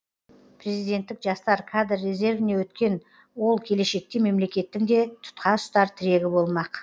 президенттік жастар кадр резервіне өткен ол келешекте мемлекеттің де тұтқаұстар тірегі болмақ